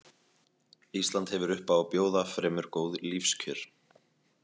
Ísland hefur upp á að bjóða fremur góð lífskjör.